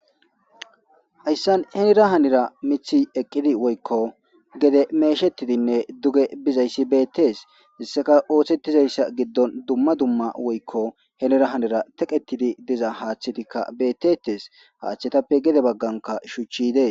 Hayissan henira hanira miththi eqqidi woyikko gede meshshettidi nne duge bizayissa betees.hessakka oththetidayissa giddon dumma dumma woyikko henira hanira teqqetidd dizaa haththetikka betetes.haththetappe gede baganikka shuchchi dees.